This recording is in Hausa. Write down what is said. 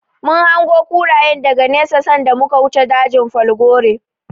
Mun hango kurayen daga nesa sanda muka wuce dajin falgore.